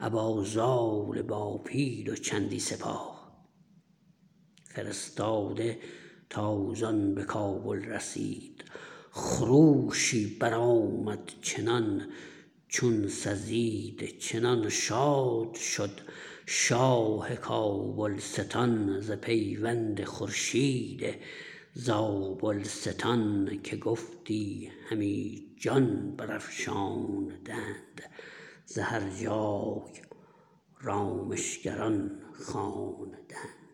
ابا زال با پیل و چندی سپاه فرستاده تازان به کابل رسید خروشی برآمد چنان چون سزید چنان شاد شد شاه کابلستان ز پیوند خورشید زابلستان که گفتی همی جان برافشاندند ز هر جای رامشگران خواندند